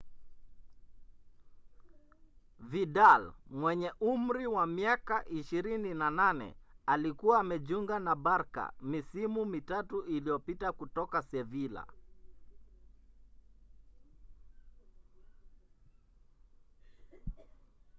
vidal mwenye umri wa miaka 28 alikuwa amejiunga na barca misimu mitatu iliyopita kutoka sevilla